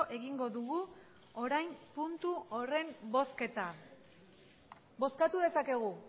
egingo dugu orain puntu horren bozketa bozkatu dezakegu